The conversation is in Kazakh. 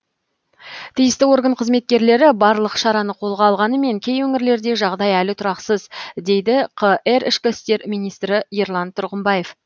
тиісті орган қызметкерлері барлық шараны қолға алғанымен кей өңірлерде жағдай әлі тұрақсыз дейді қр ішкі істер министрі ерлан тұрғымбаев